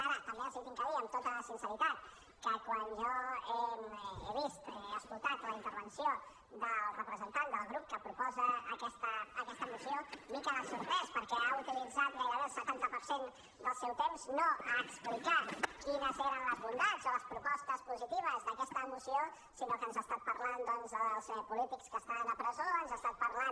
ara també els he de dir amb tota sinceritat que quan jo he vist he escoltat la intervenció del representant del grup que proposa aquesta moció m’he quedat sorprès perquè ha utilitzat gairebé el setanta per cent del seu temps no a explicar quines eren les bondats o les propostes positives d’aquesta moció sinó que ens ha estat parlat dels polítics que estan a presó ens ha estat parlant